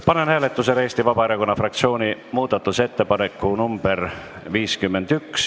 Panen hääletusele Eesti Vabaerakonna fraktsiooni muudatusettepaneku nr 51.